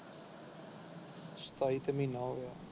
ਸਤਾਈ ਤੇ ਮਹੀਨਾ ਹੋ ਗਿਆ।